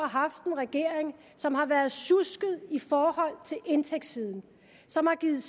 haft en regering som har været sjusket i forhold til indtægtssiden som har givet